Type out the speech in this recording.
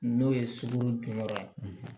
N'o ye sugunɛ jɔyɔrɔ ye